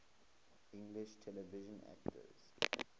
english television actors